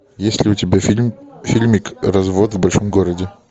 есть ли у тебя фильм фильмик развод в большом городе